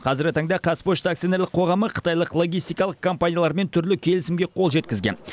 қазіргі таңда қазпошта акционерлік қоғамы қытайлық логистикалық компаниялармен түрлі келісімге қол жеткізген